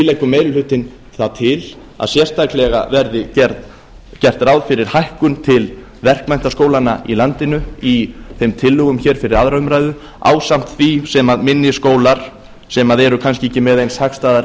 leggur meiri hlutinn það til að sérstaklega verði gert ráð fyrir hækkun til verkmenntaskólanna í landinu í þeim tillögum hér fyrir aðra umræðu ásamt því sem minni skólar sem eru kannski ekki með eins hagstæðar